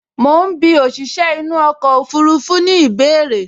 Mo ń bí òṣìṣẹ́ inú ọkọ̀ ọfurufú ní ìbéèrè